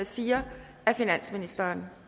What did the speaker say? fire af finansministeren